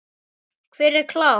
Hver er klár?